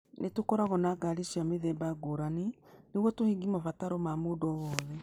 Nĩ tũkoragwo na ngari cia mĩthemba ngũrani nĩguo tũhingie mabataro ma mũndũ o wothe.